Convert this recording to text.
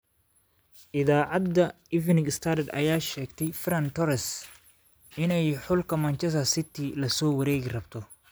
Iidacada Evening Standard, aya sheegtey Ferran Torres inay xulka Manchester City lasowarekirabto.